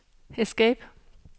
escape